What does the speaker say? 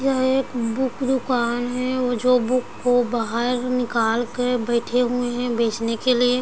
यह एक बुक दुकान है वो जो बुक को बाहर निकाल के बइठे हुए है बेचने के लिए--